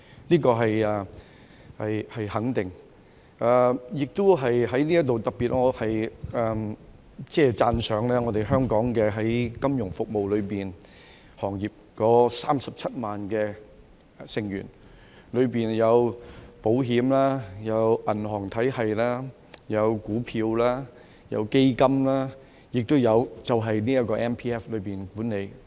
這個是肯定的，我在此亦都特別讚賞香港金融服務行業內的27萬名成員，當中有保險、銀行體系、股票、基金，亦都有這個 MPF 管理。